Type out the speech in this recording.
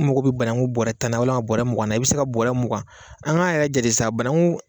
n mago bɛ bananku bɔrɛ tan na walima bɔrɛ mugan na i bɛ se ka bɔrɛ mugan an k'a yɛrɛ jate sa bananju